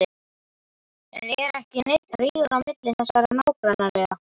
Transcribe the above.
En er ekki neinn rígur á milli þessara nágrannaliða?